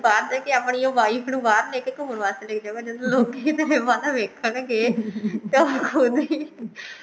ਬਾਹਰ ਜਾਕੇ ਆਪਣੀ wife ਨੂੰ ਬਾਹਰ ਲੇਕੇ ਘੁਮੰਣ ਵਾਸਤੇ ਲੇਕੇ ਜਾਏਗਾ ਨਾ ਲੋਕੀ ਤੇਰੇ ਵੱਲ ਵੇਖਣਗੇ ਤਾਂ ਖੁਦ ਹੀ